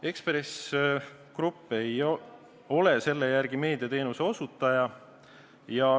Ekspress Grupp ei ole selle järgi meediateenuse osutaja.